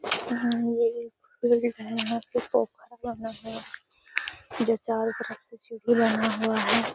यहा ये एक कोई डिज़ाइनर का तोहफा बना है जो चारो तरफ से बना हुआ है।